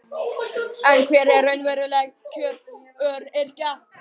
En hver eru raunveruleg kjör öryrkja?